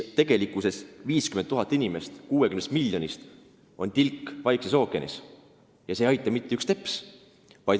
Tegelikult on 50 000 inimest 60 miljonist nagu tilk Vaikses ookeanis ja see ei aita mitte üks teps.